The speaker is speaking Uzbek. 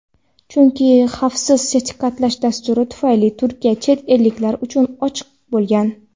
chunki xavfsiz sertifikatlash dasturi tufayli Turkiya chet elliklar uchun ochiq bo‘lgan.